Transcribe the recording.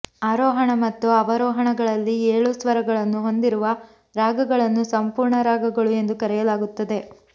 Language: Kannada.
ಆರೋಹಣ ಮತ್ತು ಅವರೋಹಣಗಳಲ್ಲಿ ಏಳೂ ಸ್ವರಗಳನ್ನು ಹೊಂದಿರುವ ರಾಗಗಳನ್ನು ಸಂಪೂರ್ಣ ರಾಗಗಳು ಎಂದು ಕರೆಯಲಾಗುತ್ತದೆ